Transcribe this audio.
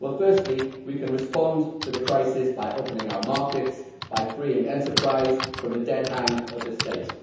Well, firstly we can respond to the crisis by opening our markets, by freeing enterprise from the dead hand of the state.